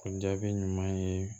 O jaabi ɲuman ye